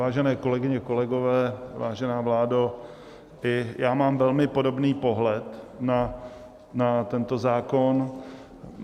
Vážené kolegyně, kolegové, vážená vládo, i já mám velmi podobný pohled na tento zákon.